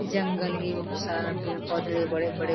जंगल हे बहुत सारा पेड़-पौधा हे बड़े-बड़े--